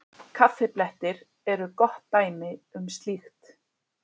Kaffiblettir eru gott dæmi um slíkt.